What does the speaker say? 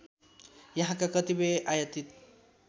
यहाँका कतिपय आयातित